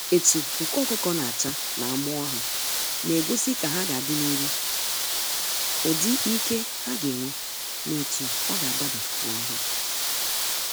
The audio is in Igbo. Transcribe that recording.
Etu nku ọkụkọ na acha na amụọ ha, na egosi ka ha ga adị n'iru, ụdị ike ha ga enwe na etu ọga adaba n'ahia.